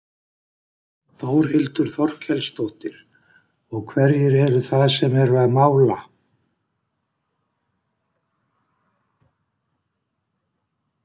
Þórhildur Þorkelsdóttir: Og hverjir eru það sem eru að mála?